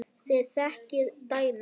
Þið þekkið dæmin.